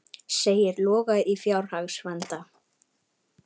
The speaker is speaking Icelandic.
Segir Loga í fjárhagsvanda